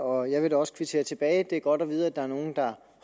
og jeg vil også kvittere tilbage det er godt at vide at der er nogle der